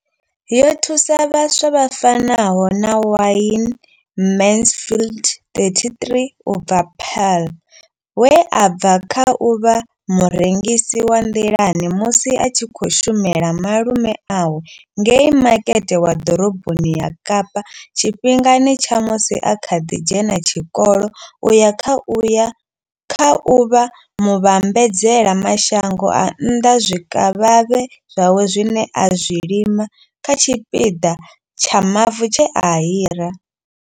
Yo thusa vhaswa vha fanaho na Wayne Mansfield 33 u bva Paarl, we a bva kha u vha murengisi wa nḓilani musi a tshi khou shumela malume awe ngei makete wa ḓoroboni ya Kapa tshifhingani tsha musi a kha ḓi dzhena tshikolo u ya kha u vha muvhambadzela mashango a nnḓa zwikavhavhe zwawe zwine a zwi lima kha tshipiḓa tsha mavu tshe a hira.